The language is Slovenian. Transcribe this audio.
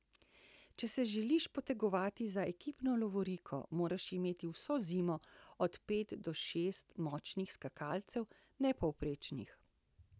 Če se želiš potegovati za ekipno lovoriko, moraš imeti vso zimo od pet do šest močnih skakalcev, ne povprečnih.